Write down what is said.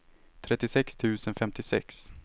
trettiosex tusen femtiosex